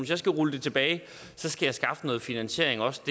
jeg skal rulle det tilbage skal jeg skaffe noget finansiering også